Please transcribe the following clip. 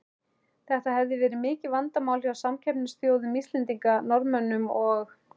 Þetta hefur verið mikið vandamál hjá samkeppnisþjóðum Íslendinga, Norðmönnum og